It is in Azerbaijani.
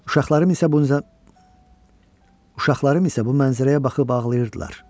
Uşaqlarım isə bu mənzərəyə baxıb ağlayırdılar.